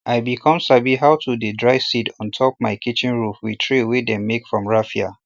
i be com sabi how to dey dry seed on top my kitchen roof with tray wey dem make from raffia